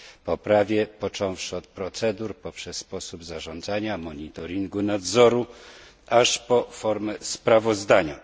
poprawie począwszy od procedur poprzez sposób zarządzania, monitoringu, nadzoru, aż po formę sprawozdania.